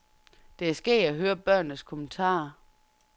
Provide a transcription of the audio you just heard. Det er skægt at høre børnenes kommentarer.